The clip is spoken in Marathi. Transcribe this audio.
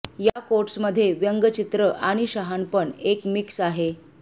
या कोट्स मध्ये व्यंग चित्र आणि शहाणपण एक मिक्स आहे